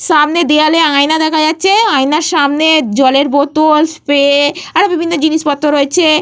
সামনে দেয়ালে আয়না দেখা যাচ্ছে। আয়নার সামনে জলের বোতল স্প্রে আরো বিভিন্ন জিনিসপত্র রয়েছে।